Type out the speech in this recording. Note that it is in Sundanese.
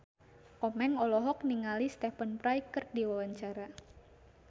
Komeng olohok ningali Stephen Fry keur diwawancara